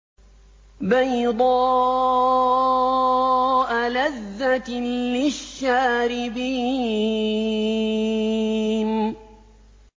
بَيْضَاءَ لَذَّةٍ لِّلشَّارِبِينَ